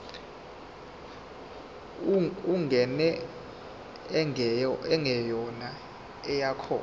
ingane engeyona eyakho